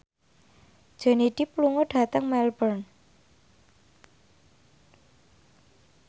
Johnny Depp lunga dhateng Melbourne